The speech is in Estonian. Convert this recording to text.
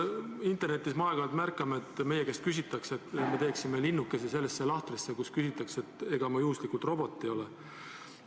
Internetis me aeg-ajalt märkame, et meil palutakse teha linnuke sellesse lahtrisse, kus küsitakse, ega ma juhuslikult robot ei ole.